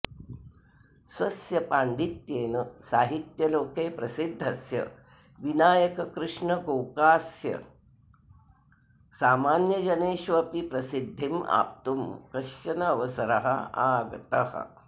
स्वस्य पाण्डित्येन साहित्यलोके प्रसिद्धस्य विनायककृष्ण गोकास्य सामान्यजनेषु अपि प्रसिद्धिम् आप्तुं कश्चन अवसरः आगतः